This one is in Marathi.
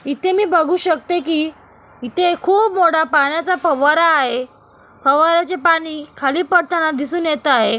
इथे मी बघू शकते कि इथे खूप मोठा पाण्याचा फवारा आहे फवार्याचे पाणी खाली पडताना दिसून येत आहे.